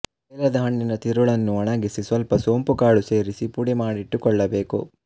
ಬೇಲದ ಹಣ್ಣಿನ ತಿರುಳನ್ನು ಒಣಗಿಸಿ ಸ್ವಲ್ಪ ಸೋಂಪು ಕಾಳು ಸೇರಿಸಿ ಪುಡಿಮಾಡಿಟ್ಟು ಕೊಳ್ಳ ಬೇಕು